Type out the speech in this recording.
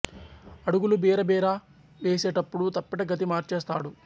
అడుగులు బిర బిరా వేసే టప్పుడు తప్పెట గతి మార్చేస్తాడు